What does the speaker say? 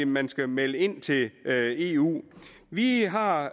man skal melde ind til eu vi har har